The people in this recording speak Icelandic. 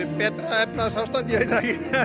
betra efnahagsástand ég veit það